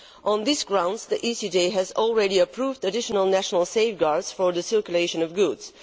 On these grounds, the ECJ has already approved additional national safeguards for the circulation of goods.